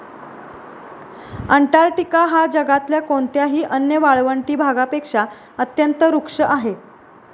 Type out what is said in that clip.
Antarctica हा जगातल्या कोणत्याही अन्य वाळवंटी भागापेक्षा अत्यंत रुक्ष आहे